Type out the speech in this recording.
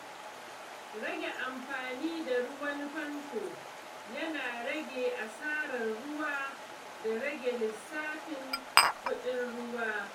Rage amfani da ruwan famfo yana rage asarar ruwa da rage lissafin kuɗin ruwa.